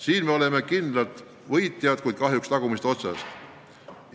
Siin me oleme kindlad võitjad, kuid kahjuks tagumisest otsast arvates.